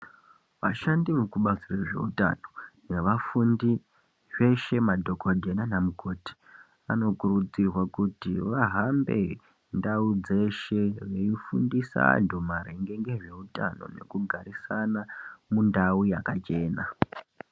Vashandi vekubazi rezvehutano nevafundi veshe madhokodheya nana mukoti vanokurudzirwa kuti vahambe ndau dzeshe veifundisa antu maringe nezveutano nekugarusana mundau yakachena.